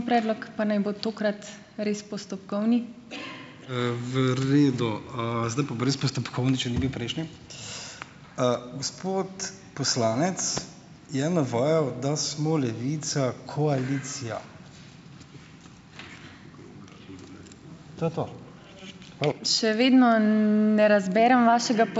V redu. Zdaj bo pa res postopkovni, če ni bil prejšnji. Gospod poslanec je navajal, da smo Levica koalicija. To je to.